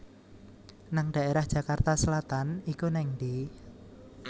nang daerah Jakarta Selatan iku nang endi?